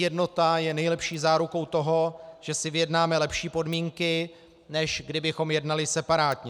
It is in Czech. Jednota je nejlepší zárukou toho, že si vyjednáme lepší podmínky, než kdybychom jednali separátně.